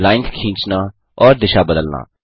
lines खींचना और दिशा बदलना